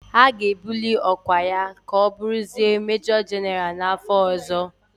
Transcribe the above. A ga-ebuli ọkwa ya ka ọ bụrụzie Mejọ Jịnara n'afọ ọzọ.